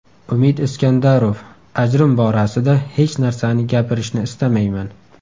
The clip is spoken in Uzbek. Umid Iskandarov: Ajrim borasida hech narsani gapirishni istamayman.